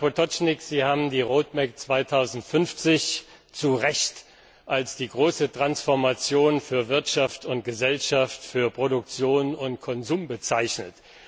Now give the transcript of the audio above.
Herr Kommissar Potočnik, Sie haben den Energiefahrplan 2050 zu Recht als die große Transformation für Wirtschaft und Gesellschaft, für Produktion und Konsum bezeichnet.